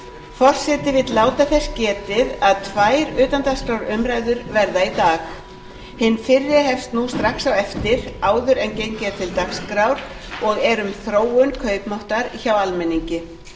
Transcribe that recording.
forseti vill láta þess getið að tvær utandagskrárumræður verða í dag hin fyrri hefst nú strax á eftir áður en gengið er til dagskrár og er um þróun kaupmáttar hjá almenningi